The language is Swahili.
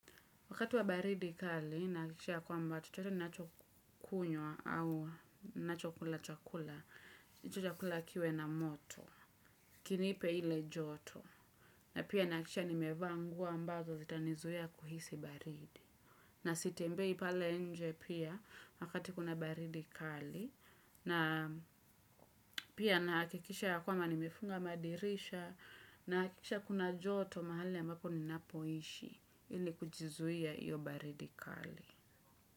Wakati wa baridi kali, nahakikisha ya kwamba chochote ninachokunywa au ninachokula chakula, chakula kiwe na moto, kinipe ile joto, na pia nahakikisha nimevaa nguo ambazo zitanizuia kuhisi baridi. Na sitembei pale nje pia wakati kuna baridi kali, na pia nahakikisha ya kwamba nimefunga madirisha, na nahakikisha kuna joto mahali ambapo ninapoishi, ili kuzuia hiyo baridi kali.